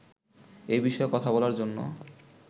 এ বিষয়ে কথা বলার জন্য